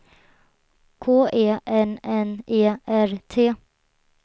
K E N N E R T